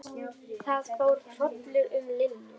Það fór hrollur um Lillu.